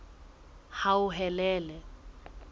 hauhelele